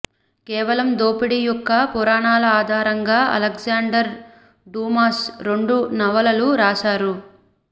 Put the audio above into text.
కేవలం దోపిడీ యొక్క పురాణాల ఆధారంగా అలెగ్జాండర్ డూమాస్ రెండు నవలలు రాశారు